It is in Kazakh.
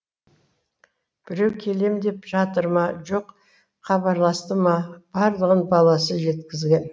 біреу келем деп жатыр ма жоқ хабарласты ма барлығын баласы жеткізген